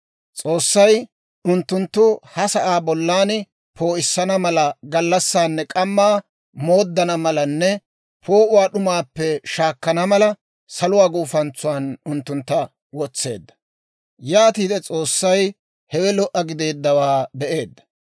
S'oossay unttuttu ha sa'aa bollan poo'issana mala, gallassaanne k'ammaa mooddana malanne poo'uwaa d'umaappe shaakkana mala, saluwaa guufantsuwaan unttuntta wotseedda. Yaatiide S'oossay hewe lo"a gideeddawaa be'eedda.